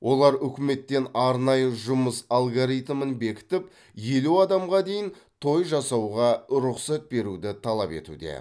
олар үкіметтен арнайы жұмыс алгоритмін бекітіп елу адамға дейін той жасауға рұқсат беруді талап етуде